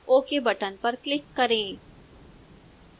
ok button पर click करें